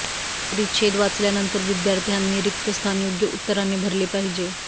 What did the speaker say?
परिच्छेद वाचल्यानंतर विद्यार्थ्यांनी रिक्त स्थान योग्य उत्तराने भरले पाहिजे